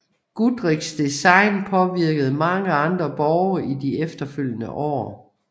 Goodrichs design påvirkede mange andre borge i de efterfølgende år